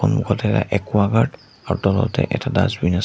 মুখতে এটা একুৱাগাৰ্ড আৰু তলতে এটা ডাচবিন আছে।